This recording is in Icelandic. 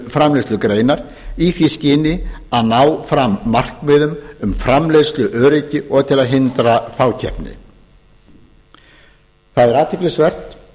framleiðslugreinar í því skyni að ná fram markmiðum um framleiðsluöryggi og til að hindra fákeppni það er athyglisvert